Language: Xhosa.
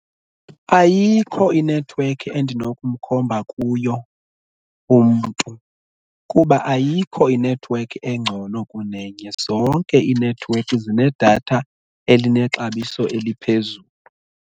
Ayikho inethiwekhi endinokumkhomba kuyo umntu kuba ayikho inethiwekhi engcono kunenye. Zonke iinethiwekhi zinedatha elinexabiso eliphezulu.